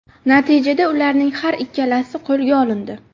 Natijada ularning har ikkalasi qo‘lga olindi.